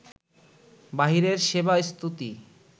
বাহিরের সেবা স্তুতি